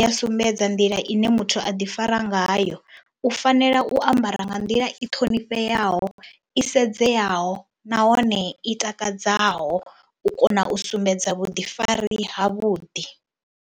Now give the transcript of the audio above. ya sumbedza nḓila ine muthu a ḓifara ngayo, u fanela u ambara nga nḓila i ṱhonifheaho, i sedzeyaho nahone i takadzaho u kona u sumbedza vhuḓifari havhuḓi.